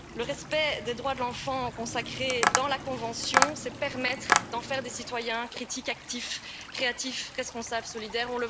Respecter les droits de l'enfant consacrés dans la Convention, c'est permettre aux enfants de devenir des citoyens critiques, actifs, créatifs, responsables et solidaires.